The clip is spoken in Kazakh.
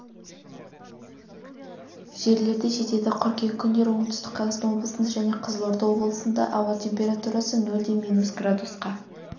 жерлерде жетеді қыркүйек күндері оңтүстік қазақстан облысында және қызылорда облысында ауа температурасы нөлден минус градусқа